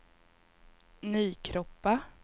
Nykroppa